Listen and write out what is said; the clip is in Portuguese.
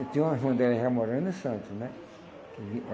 Eu tinha uma irmã dela já morando em Santos, né? Que